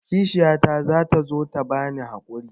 Kishiyata za ta zo ta bani haƙuri.